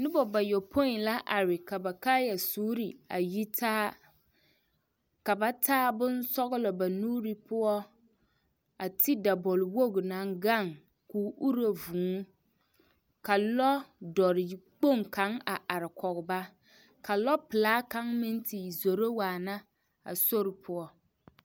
Noba bayɔpoi la are ka ba kaayɛsuure a yi taa ka ba taa bonsɔglɔ ba nuure poɔ a ti dabɔlwogi naŋ gaŋ ko o uro vuu ka lɔdɔre kpoŋ kaŋ a are kɔge ba ka lɔpelaa kaŋ meŋ te zoro waana a sori poɔ.